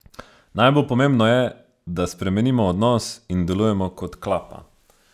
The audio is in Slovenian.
Najbolj pomembno je, da spremenimo odnos in delujemo kot klapa.